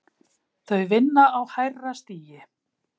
Þau vinna á hærra stigi